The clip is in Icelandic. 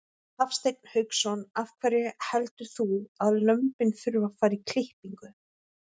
Hafsteinn Hauksson: Af hverju heldur þú að lömbin þurfi að fara í klippingu?